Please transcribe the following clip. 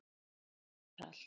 Þetta telur allt.